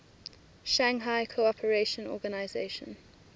shanghai cooperation organization